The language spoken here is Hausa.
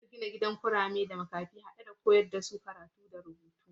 Zasu gina gidan kurame da makafi hade da makarantar koyar da su karatu da rubutu